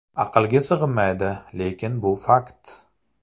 Aqlga sig‘maydi, lekin bu fakt.